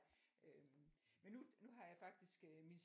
Øh men nu nu har jeg faktisk min